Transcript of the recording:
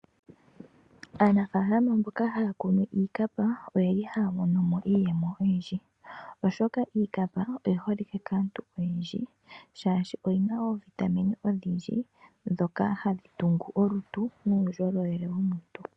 Aanafaalama mboka haya kunu iikapa oyeli haya monomo iiyemo oyindji oshoka iikapa oyi holike kaantu oyendji. Shaashi oyina oovitamine odhindji ndhoka hadhi tungu olutu nuundjolowele wolutu.